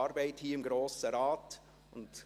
Geschäft 2019.RRGR.197